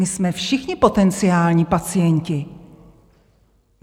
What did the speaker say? My jsme všichni potenciální pacienti.